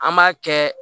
An b'a kɛ